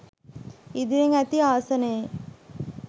ඉදිරියෙන් ඇති ආසනයේ